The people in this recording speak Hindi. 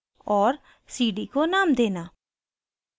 और cd को name देना